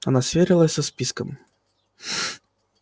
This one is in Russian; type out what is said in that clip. она сверилась со списком